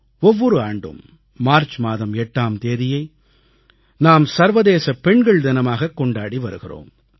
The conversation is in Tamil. ஒவ்வொரு ஆண்டும் மார்ச் மாதம் 8ஆம் தேதியை நாம் சர்வதேச பெண்கள் தினமாகக் கொண்டாடி வருகிறோம்